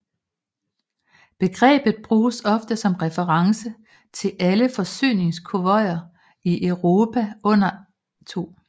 Begrebet bruges ofte som reference til alle forsyningskonvojer i Europa under 2